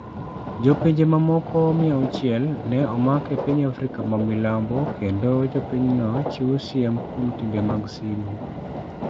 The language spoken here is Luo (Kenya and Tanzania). Jo pinje mamoko 600 ne omak e piny Africa mamilambo, kendo jo pinyno chiwo siem kuom timbe mag sigu